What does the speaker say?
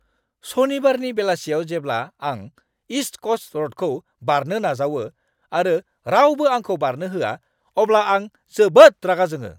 सनिबारनि बेलासियाव जेब्ला आं इस्ट क'स्ट र'डखौ बारनो नाजावो आरो रावबो आंखौ बारनो होआ, अब्ला आं जोबोद रागा जोङो!